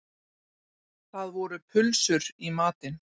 Það voru pulsur í matinn